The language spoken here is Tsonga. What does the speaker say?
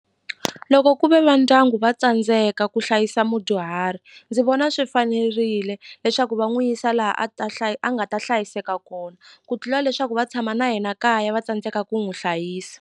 Loko ku ve va ndyangu va tsandzeka ku hlayisa mudyuhari ndzi vona swi fanerile leswaku va n'wi yisa laha a ta hlaya a nga ta hlayiseka kona ku tlula leswaku va tshama na yena kaya va tsandzeka ku n'wi hlayisa.